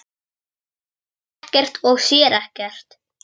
Hann heyrir ekkert og sér ekkert.